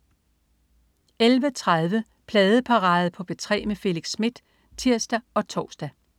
11.30 Pladeparade på P3 med Felix Smith (tirs og tors)